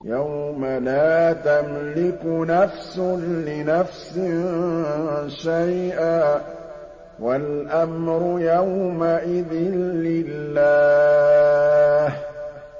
يَوْمَ لَا تَمْلِكُ نَفْسٌ لِّنَفْسٍ شَيْئًا ۖ وَالْأَمْرُ يَوْمَئِذٍ لِّلَّهِ